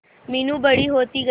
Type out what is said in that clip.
मीनू बड़ी होती गई